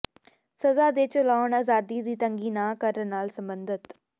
ਸਜ਼ਾ ਦੇ ਚਲਾਉਣ ਆਜ਼ਾਦੀ ਦੀ ਤੰਗੀ ਨਾ ਕਰਨ ਨਾਲ ਸਬੰਧਤ